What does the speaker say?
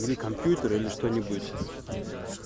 или компьютер или что-нибудь